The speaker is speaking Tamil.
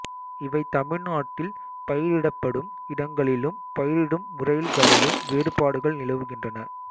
இவை தமிழ்நாட்டில் பயிரிடப்படும் இடங்களிலும் பயிரிடும் முறைகளிலும் வேறுபாடுகள் நிலவுகின்றன